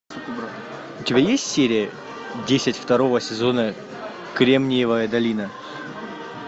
у тебя есть серия десять второго сезона кремниевая долина